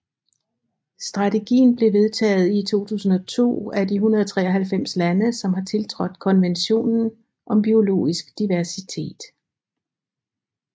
Strategien blev vedtaget i 2002 af de 193 lande som har tiltrådt Konventionen om biologisk diversitet